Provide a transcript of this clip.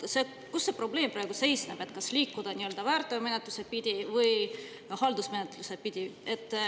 See probleem praegu seisneb selles, kas liikuda nii-öelda väärteomenetlust pidi või haldusmenetlust pidi.